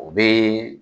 O bɛ